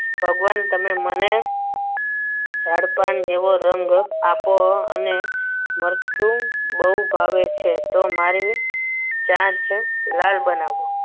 ભગવાન તમે મને ઝાડ પાન જેવું રંગ આપો અને મરચું બહુ ભાવે છે તો મારી ચાંચ લાલ બનાવો.